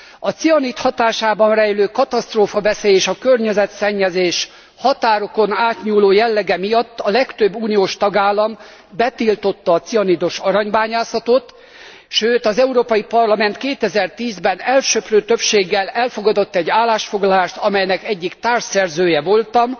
A cianid hatásában rejlő katasztrófaveszély és a környezetszennyezés határokon átnyúló jellege miatt a legtöbb uniós tagállam betiltotta a cianidos aranybányászatot, sőt, az Európai Parlament 2010 ben elsöprő többséggel elfogadott egy állásfoglalást, amelynek egyik társszerzője voltam,